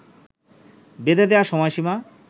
বেধে দেয়া সময়সীমা